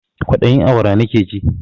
Kwaɗayin awara nakeji